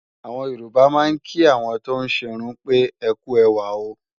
Àwọn Yorùbá máa ń kí àwọn tóún ṣerun pé "ẹkú ẹwà o"